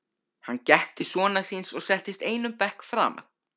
Hann gekk til sonar síns og settist einum bekk framar.